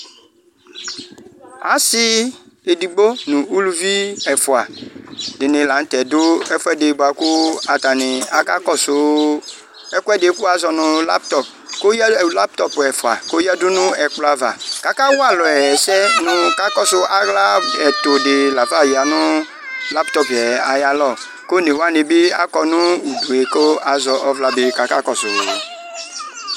Ɔsi edigbo nʋ ʋlʋvi ɛfʋa dini lanʋtɛ dʋ ɛfuedi bʋakʋ atani kakɔsʋ ɛkʋɛdi kʋ wazɔ nʋ laptɔp ɛfva kʋ ɔyadʋ nʋ ɛkplɔ ava kʋ akawa alʋ ɛsɛ nʋ kakɔsʋ aɣla ɛtʋdi lafa yanʋ laptɔp yɛ ayʋ alɔ kʋ one wani bi akɔ nʋ udue kʋ akakɔsʋ